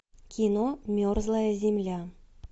кино мерзлая земля